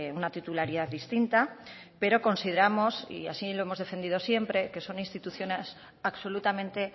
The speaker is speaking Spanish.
una titularidad distinta pero consideramos y así lo hemos defendido siempre que son instituciones absolutamente